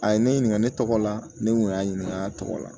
A ye ne ɲininka ne tɔgɔ la ne kun y'a ɲininka a tɔgɔ la